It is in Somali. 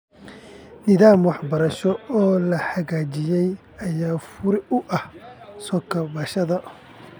Nidaam waxbarasho oo la hagaajiyay ayaa fure u ah soo kabashada .